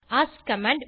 ask command